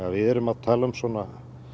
við